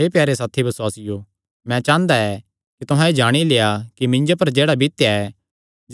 हे प्यारे साथी बसुआसियो मैं चांह़दा ऐ कि तुहां एह़ जाणी लेआ कि मिन्जो पर जेह्ड़ा बितेया ऐ